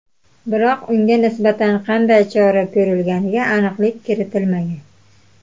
Biroq unga nisbatan qanday chora ko‘rilganiga aniqlik kiritilmagan.